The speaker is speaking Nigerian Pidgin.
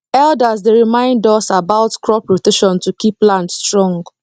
elders dey remind us about crop rotation to keep land strong